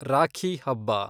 ರಾಖಿ ಹಬ್ಬ